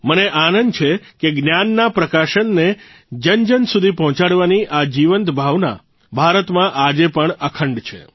મને આનંદ છે કે જ્ઞાનના પ્રકાશને જનજન સુધી પહોંચાડવાની આ જીવંત ભાવના ભારતમાં આજે પણ અખંડ છે